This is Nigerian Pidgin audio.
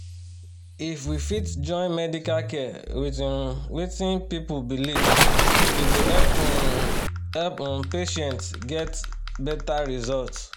if we fit join medical care with um wetin people believe e go help um help um patients get better result